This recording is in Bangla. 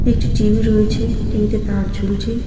একটি টি_ভি রয়েছে টি_ভি -তে তার ঝুলছে।